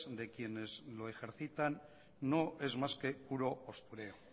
de quienes lo ejercitan no es más que puro postureo